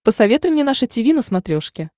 посоветуй мне наше тиви на смотрешке